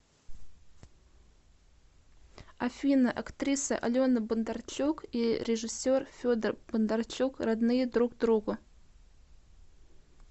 афина актриса алена бондарчук и режиссер федор бондарчук родные друг другу